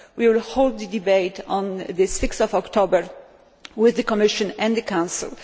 We will hold the debate on 6 October with the Commission and the Council